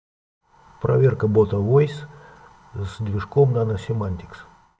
проверка бота войс с движком наносемантикс